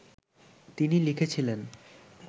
তিনি লিখেছিলেন